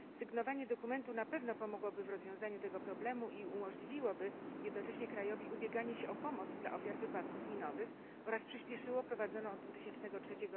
Sygnowanie dokumentu na pewno pomogłoby w rozwiązaniu tego problemu i umożliwiłoby jednocześnie krajowi ubieganie się o pomoc dla ofiar wypadków minowych oraz przyspieszyło prowadzoną od 2003